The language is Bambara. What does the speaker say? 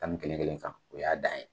Tan nii kelen kelen kan. Oy'a dan ye.